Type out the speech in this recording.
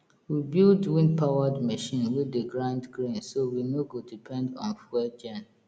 we build windpowered machine wey dey grind grain so we no go depend on fuel gen